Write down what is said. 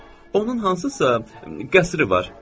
Onun hansısa qəsri var.